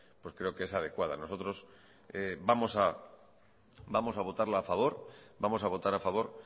creo que es adecuada nosotros vamos a votarla a favor vamos a votar a favor